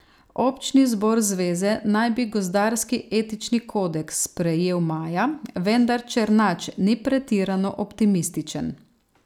Občni zbor zveze naj bi gozdarski etični kodeks sprejel maja, vendar Černač ni pretirano optimističen.